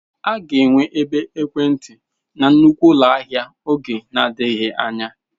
A ga-enwe ebe ekwentị na nnukwu ụlọ ahịa n'oge adịghị anya.